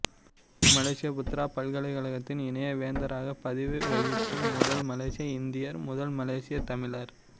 மலேசிய Putra பல்கலைக்கழகத்தின் இணை வேந்தராக பதவி வகிக்கும் முதல் மலேசிய இந்தியர் முதல் மலேசியத் தமிழர்